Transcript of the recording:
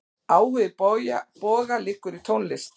Áhugi Boga liggur í tónlist.